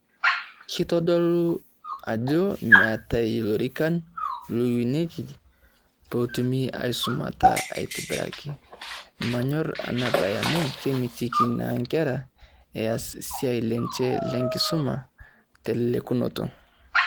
Keitodolu ajo meetae ilorikan lootonieki pee etumi aisumata aitibiraki. Mmanyorr Ena bae amu kemitiki naa nkera eas esiai lenche lenkisuma te lelekunoto.